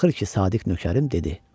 Axır ki, sadiq nökərim dedi: